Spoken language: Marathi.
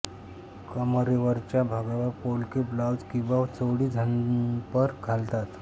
कमरेवरच्या भागावर पोलके ब्लाऊज किंवा चोळी झंपर घालतात